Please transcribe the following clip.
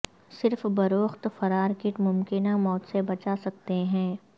صرف بروقت فرار کیٹ ممکنہ موت سے بچا سکتے ہیں